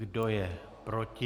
Kdo je proti?